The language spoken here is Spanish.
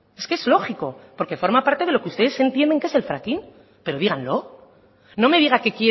es que es lógico porque forma parte de lo que ustedes entienden que es el fracking pero díganlo no me diga que